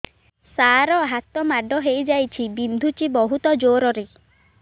ସାର ହାତ ମାଡ଼ ହେଇଯାଇଛି ବିନ୍ଧୁଛି ବହୁତ ଜୋରରେ